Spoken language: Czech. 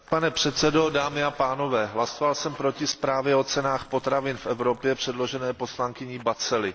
Pane předsedo, dámy a pánové, hlasoval jsem proti zprávě o cenách potravin v Evropě předložené poslankyní Batzeli.